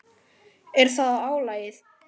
Er það álagið?